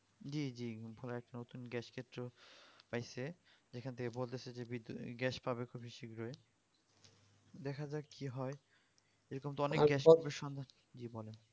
জী জী ওরা এক নতুন gas ক্ষেত্র পাইছে সেখান থেকে বলতেছে যে gas পাবে খুবই শিগ্গিরই দেখা যাক কি হয় এরকম তো অনেক gas এর সন্ধান জী বলেন